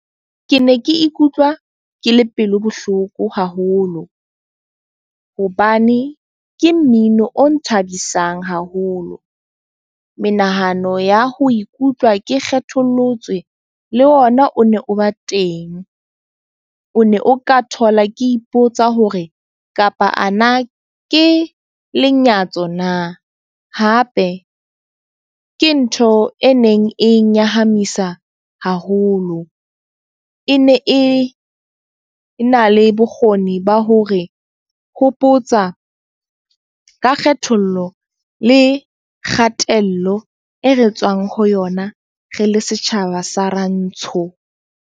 Ke ne ke ikutlwa ke le pelo bohloko haholo. Hobane ke mmino o nthabisang haholo. Menahano ya ho ikutlwa ke kgethollotswe le ona o ne o ba teng. O ne o ka thola ke ipotsa hore kapa ana ke lenyatso na? Hape ke ntho e neng e nyahamisa haholo. E ne e e na le bokgoni ba hore hopotsa ka kgethollo le kgatello e re tswang ho yona re le setjhaba sa Rantsho.